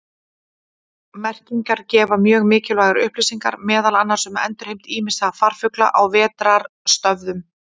Merkingar gefa mjög mikilvægar upplýsingar meðal annars um endurheimt ýmissa farfugla á vetrarstöðvum.